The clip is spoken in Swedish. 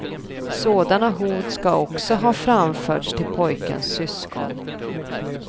Sådana hot ska också ha framförts till pojkens syskon.